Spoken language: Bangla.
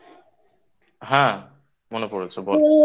হ্যাঁ মনে পড়েছে বল